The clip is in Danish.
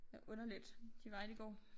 Det underligt de veje de går